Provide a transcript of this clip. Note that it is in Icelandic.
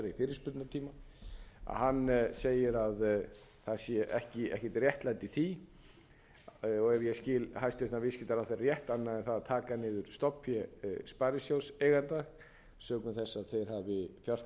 fyrirspurnatíma að hann segir að það sé ekkert réttlæti í því og ef ég skil hæstvirtur viðskiptaráðherra rétt annað en það að taka niður stofnfé sparisjóðseigenda sökum þess að þeir hafi fjárfest bara eins og aðrir aðilar og